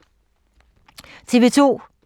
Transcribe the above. TV 2